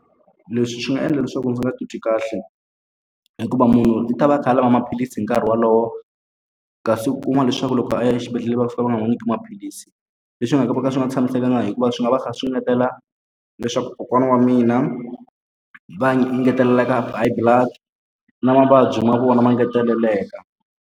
Leswi swi nga endla leswaku ndzi nga titwi kahle, hikuva munhu ndzi ta va a kha a lava maphilisi hi nkarhi wolowo. Kasi u kuma leswaku loko a ya exibedhlele va fika va nga n'wi nyiki maphilisi. Leswi swi nga ka va ka swi nga tshamisekanga hikuva swi nga va kha swi engetela leswaku kokwana wa mina va engeteleleka blood, na mavabyi ma vona ma engeteleleka.